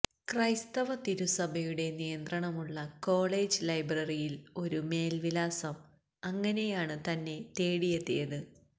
ക്രൈസ്തവ തിരുസഭയുടെ നിയന്ത്രണമുള്ള കോളേജ് ലൈബ്രറിയിൽ ഒരു മേൽവിലാസം അങ്ങനെയാണ് തന്നെ തേടിയെത്തിയത്